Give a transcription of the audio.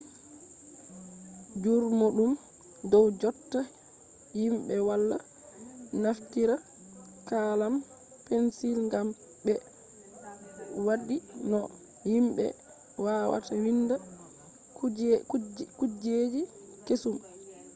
jurumɗum dow jotta himɓe wala naftira kalam pensil gam ɓe waddi no himɓe wawata winda kujeji kesum